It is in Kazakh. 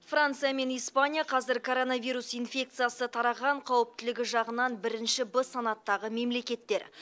франция мен испания қазір коронавирус инфекциясы тараған қауіптілігі жағынан бірінші б санаттағы мемлекеттер